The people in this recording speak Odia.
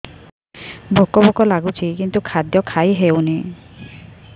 ଭୋକ ଭୋକ ଲାଗୁଛି କିନ୍ତୁ ଖାଦ୍ୟ ଖାଇ ହେଉନି